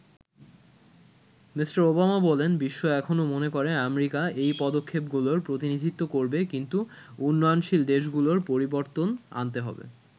Me. Obama বলেন বিশ্ব এখনো মনে করে আমেরিকা এ পদক্ষেপ গুলোর প্রতিনিধিত্ব করবে কিন্তু উন্নয়নশীল দেশগুলোরও পরিবর্তন আনতে হবে।